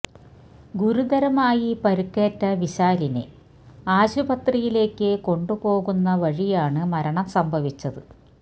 ഗുരുതരമായി പരിക്കേറ്റ വിശാലിനെ ആശുപത്രിയിലേക്ക് കൊണ്ട് പോകുന്ന വഴിയാണ് മരണം സംഭവിച്ചത്